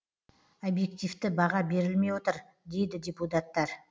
объективті баға берілмей отыр дейді депутаттар